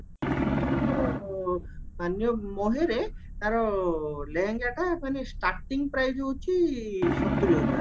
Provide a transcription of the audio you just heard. ଆମର ମାନ୍ୟ ମହେରେ ତାର ଲେହେଙ୍ଗଟା ମାନେ starting price ହଉଚି ସତୁରୀ ହଜାର